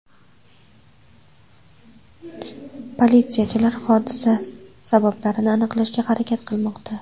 Politsiyachilar hodisa sabablarini aniqlashga harakat qilmoqda.